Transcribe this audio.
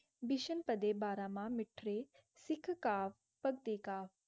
बेशन पडेबरा मनः मिथ्र्य सिख का काटते गए